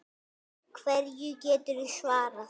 Hverju geturðu svarað?